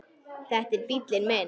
Þetta er bíllinn minn